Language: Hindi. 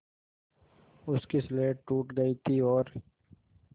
उसकी स्लेट टूट गई थी और